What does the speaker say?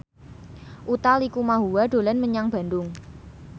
Utha Likumahua dolan menyang Bandung